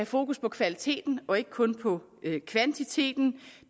fokus på kvaliteten og ikke kun på kvantiteten